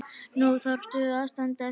Nú þarftu að standa þig.